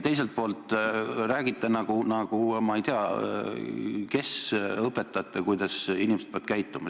Teiselt poolt te räägite nagu ma ei tea kes – õpetate, kuidas inimesed peavad käituma.